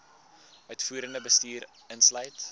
uitvoerende bestuur insluit